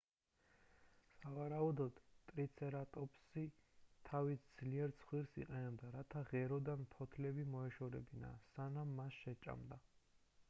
სავარაუდოდ ტრიცერატოპსი თავისი ძლიერ ცხვირს იყენებდა რათა ღეროდან ფოთლები მოეშორებინა სანამ მას შეჭამდა